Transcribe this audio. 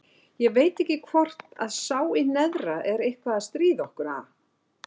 Ég veit ekki hvort að sá í neðra er eitthvað að stríða okkur, ha?